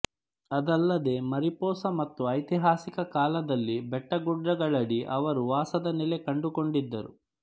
ಅದಲ್ಲದೇ ಮಾರಿಪೊಸಾ ಮತ್ತು ಐತಿಹಾಸಿಕ ಕಾಲದಲ್ಲಿ ಬೆಟ್ಟಗುಡ್ಡಗಳಡಿ ಅವರು ವಾಸದ ನೆಲೆ ಕಂಡುಕೊಂಡಿದ್ದರು